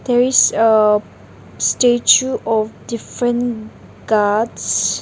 there is uh statue of different gods.